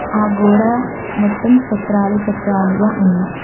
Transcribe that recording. ఆ గోడ మొత్తం చక్రాలు చక్రాలుగా ఉంది.